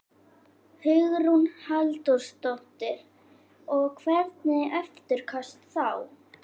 Hugrún Halldórsdóttir: Og hvernig eftirköst þá?